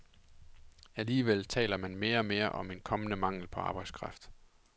Alligevel taler man mere og mere om en kommende mangel på arbejdskraft.